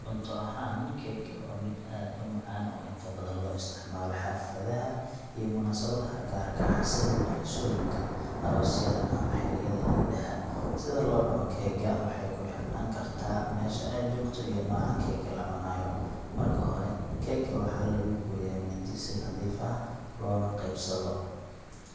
Cunto ahaan, keega waa mid aad u macaan oo inta badan loo isticmaalo xafladaha iyo munaasabadaha gaarka ah sida dhalashooyinka, aroosyada, ama xilliyada ciidaha. Sida loo cuno keega waxay ku xirnaan kartaa meesha aad joogto iyo nooca keega la cunayo. Marka hore, keega waxaa lagu gooyaa mindi si nadiif ah loona qaybsado.